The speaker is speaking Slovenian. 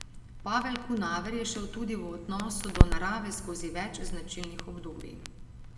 Pavel Kunaver je šel tudi v odnosu do narave skozi več značilnih obdobij.